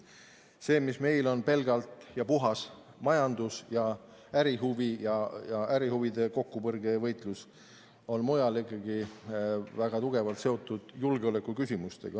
See, mis meil on pelgalt ja puhtalt majandus- ja ärihuvi ning ärihuvide kokkupõrge ja võitlus, on mujal ikkagi väga tugevalt seotud julgeolekuküsimustega.